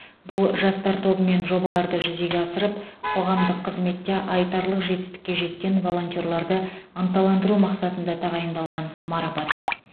бұл жастар тобымен жобаларды жүзеге асырып қоғамдық қызметте айтарлық жетістікке жеткен волонтерларды ынталандыру мақсатында тағайындалған марапат